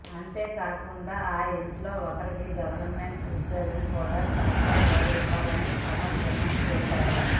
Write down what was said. అంతేకాకుండా ఆ ఇంటిలో ఒకరికి గవర్నమెంట్ ఉద్యోగం కూడా సర్కారువారు ఇవ్వాలని పవన్ డిమాండ్ చేశారు